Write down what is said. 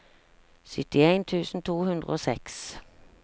syttien tusen to hundre og seks